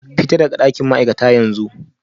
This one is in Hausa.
Fita daga dakin ma'aikata yanzu